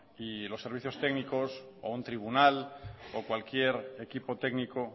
y los servicios técnicos o un tribunal o cualquier equipo técnico